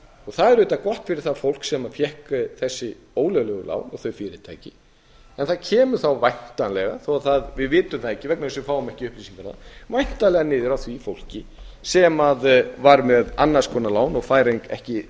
og það er auðvitað gott fyrir það fólk sem fékk þessi ólöglegu lán og þau fyrirtæki en það kemur þá væntanlega þó að við vitum það ekki vegna þess að við fáum ekki upplýsingar um það væntanlega niður á því fólki sem var með annars konar lán og fær ekki